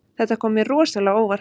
Þetta kom mér rosalega á óvart